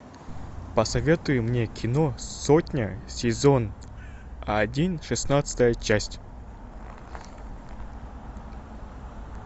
посоветуй мне кино сотня сезон один шестнадцатая часть